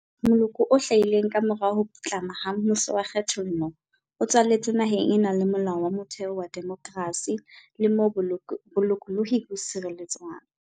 Moloko o hlahileng kamora ho putlama ha mmuso wa kgethollo o tswaletswe naheng e nang le Molao wa Motheo wa demokrasi le moo bolokolohi bo sireletswang.